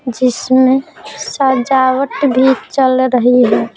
जिसमेंसजावट भी चल रही है।